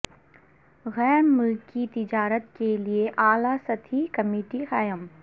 غیر ملکی تجارت کے لئے اعلی سطحی کمیٹی قائم